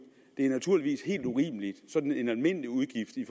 det er naturligvis helt urimeligt sådan en almindelig udgift i